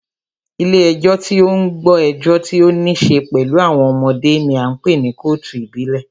Ilé ẹjọ́ tí o ń gbọ́ ẹjọ́ tí o níṣe pẹlú àwọn ọmọdé ní a ń pé ní kọ́ọ̀tù ìdílé.